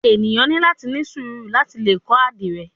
Eniyan ni lati ni suuru lati le kọ adire